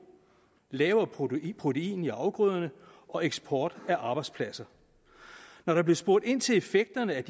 lavere protein i protein i afgrøderne og eksport af arbejdspladser når der blev spurgt ind til effekterne af